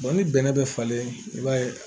ni bɛnnɛ bɛ falen i b'a ye